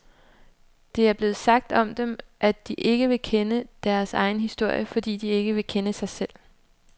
Det er blevet sagt om dem, at de ikke vil kende deres egen historie, fordi de ikke vil kende sig selv.